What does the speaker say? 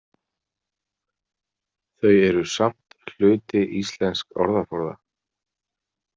Þau eru samt hluti íslensks orðaforða.